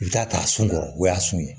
I bɛ taa ta a sun kɔrɔ o y'a sun